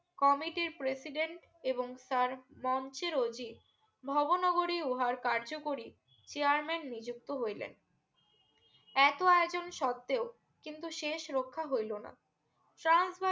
Committee র president এবং sir মঞ্চের রোজী ভোবো নগরী উহার কার্য করি chairman নিযুক্ত হইলেন এত আয়োজন সত্তেও কিন্তু শেষ রক্ষা হইলো না ট্রান্স বাল